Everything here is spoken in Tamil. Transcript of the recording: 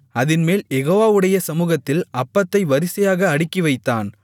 அதின்மேல் யெகோவாவுடைய சமுகத்தில் அப்பத்தை வரிசையாக அடுக்கிவைத்தான்